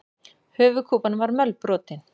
Höfuðkúpan var mölbrotin.